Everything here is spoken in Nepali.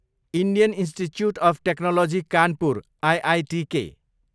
Indian Institute of Technology Kanpur, IITK